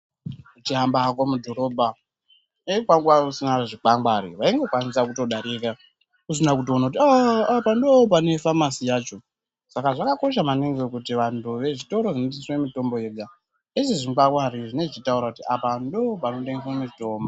Uchihamba mudhorobha dei kwanga kusina zvikwangwani waingokwanisa kudarika usina kutoona kuti aaa apa ndipo pane famasi yacho, saka zvakakosha maningi kuti vantu vezvitoro zvinotengeswe mitombo yega vaise zvikwangwari zvinenge zvichitaura kuti apa ndopanotengeswe mutombo.